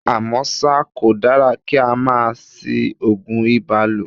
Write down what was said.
À mọ́ ṣá, kò dára kí á máa ṣí Ògùn ibà lò.